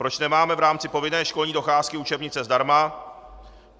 Proč nemáme v rámci povinné školní docházky učebnice zdarma.